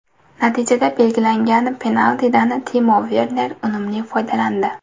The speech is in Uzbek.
Natijada belgilangan penaltidan Timo Verner unumli foydalandi.